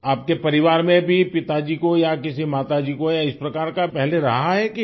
आपके परिवार में भी पिताजी को या किसी माता जी को या इस प्रकार का पहले रहा है क्या